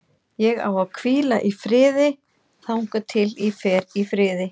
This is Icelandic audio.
Ég á að hvíla í friði þangað til ég fer í friði.